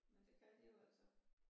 Men det kan de jo altså